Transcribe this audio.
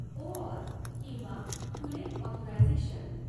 OAuth किंवा खुले authorisation.